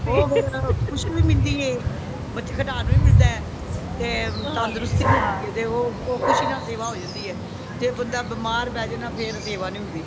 ਉਹ ਫੇਰ ਖੁਸ਼ੀ ਵੀ ਮਿਲਦੀ ਹੈ ਬੱਚੇ ਖਿਡਾਂਨ ਨੂੰ ਵੀ ਮਿਲਦਾ ਤੇ ਅੰਦਰੋਂ ਖੁਸ਼ੀ ਵੀ ਮਿਲਦੀ ਹੈ ਤੇ ਉਹ ਖੁਸ਼ੀ ਨਾਲ ਸੇਵਾ ਹੋ ਜਾਂਦੀ ਹੈ ਜੇ ਬੰਦਾ ਮਿਮਾਰ ਪੇ ਜਾਏ ਨਾ ਫੇਰ ਸੇਵਾ ਨਹੀਂ ਹੋਂਦੀ